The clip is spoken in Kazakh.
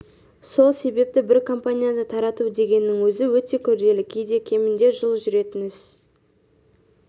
сол себепті бір компанияны тарату дегеннің өзі өте күрделі кейде кемінде жыл жүретін іс